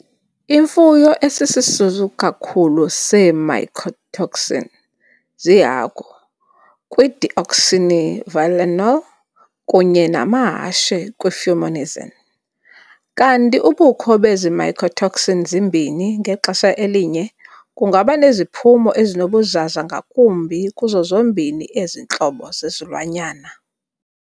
Imfuyo esisisulu kakhulu see-mycotoxin ziihagu kwi-deoxynivalenol kunye namahashe kwi-fumonisin, kanti ubukho bezi mycotoxin zimbini ngexesha elinye kungaba neziphumo ezinobuzaza ngakumbi kuzo zombini ezi ntlobo zezilwanyana.